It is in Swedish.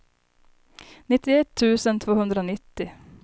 nittioett tusen tvåhundranittio